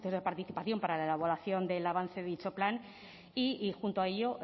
de participación para la elaboración del avance de dicho plan y junto a ello